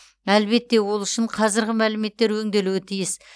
әлбетте ол үшін қазіргі мәліметтер өңделуі тиіс